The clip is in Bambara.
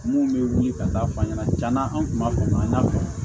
Mun bɛ wili ka taa f'a ɲɛna tiɲɛna an tun b'a fɔ maa fɛ